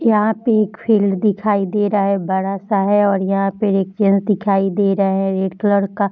यहाँ पे एक फील्ड दिखाई दे रहा है। एक बड़ा सा है और यहाँ पे एक चैम्प दिखाई दे रहे है। एक लड़का --